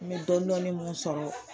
N bɛ dɔɔnin dɔɔnin minnu sɔrɔ